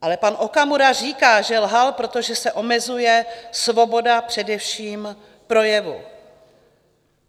Ale pan Okamura říká, že lhal, protože se omezuje svoboda především projevu.